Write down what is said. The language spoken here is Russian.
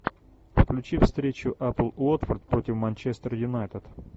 включи встречу апл уотфорд против манчестер юнайтед